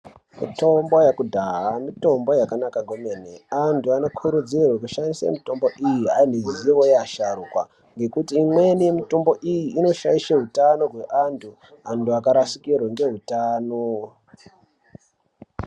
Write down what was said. Mitombo yekudhaya mitombo yakanaka kwemene anthu anokurudzirwe kushandise mitombo iyi ane ruzivo yevasharukwa ngekuti imweni mitombo iyi inoshaishe utano hwevanhu anhu akarashikirwa ngeutano.